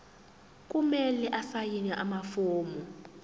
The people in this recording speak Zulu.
kumele asayine amafomu